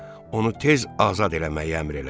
Onu tez azad eləməyə əmr elədi.